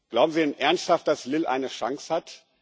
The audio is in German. Glauben Sie denn ernsthaft, dass Lille eine Chance hat?